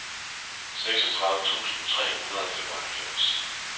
seksogtredive tusind tre hundrede og femoghalvfems